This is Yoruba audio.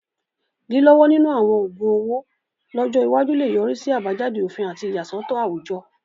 Lílọ́wọ́ nínú àwọn oògun owó lọ́jọ́ iwájú lè yọrí sí àbájáde òfin àti ìyàsọ́tọ̀ àwùjọ.